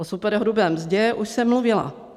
O superhrubé mzdě už jsem mluvila.